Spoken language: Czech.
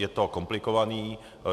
Je to komplikované.